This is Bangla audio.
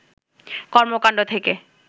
কর্মকান্ড থেকে